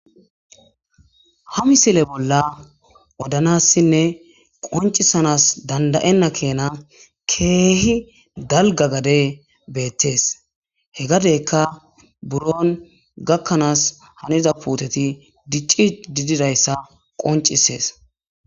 ha misile bolla odanassinne qoncisanas dandayenna keena keehi dalga gade beettees he gadeyka buron gakkanaas haniza puuteti dicci di didayssa qoncisees